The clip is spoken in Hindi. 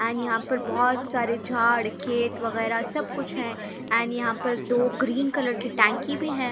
एंड यहाँ पे बहुत सारे झाड़ खेत वगेरा सब कुछ हैं एंड यहाँ पर दो ग्रीन कलर के टंकी भी हैं ।